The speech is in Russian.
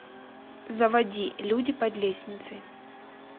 заводи люди под лестницей